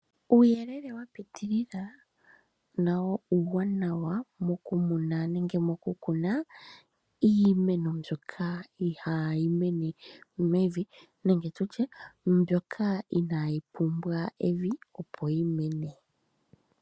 Uuyelele wa pitilila nawo uuwanawa mokukuma iimeno mbyoka ihaayi mene mevi nenge tutye mbyoka inaa yi pumbwa evi opo yi mene.